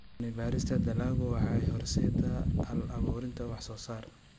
Cilmi-baarista dalaggu waxay horseeddaa hal-abuurnimo wax soo saar.